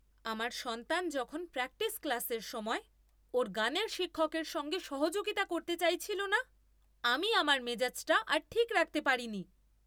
আমার সন্তান যখন প্র্যাকটিস ক্লাসের সময় ওর গানের শিক্ষকের সঙ্গে সহযোগিতা করতে চাইছিল না আমি আমার মেজাজটা আর ঠিক রাখতে পারিনি।